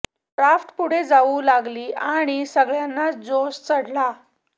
raft पुढे जाऊ लागली आणि सगळ्यांनाच जोश चढला